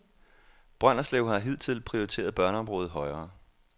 Brønderslev har hidtil prioriteret børneområdet højere.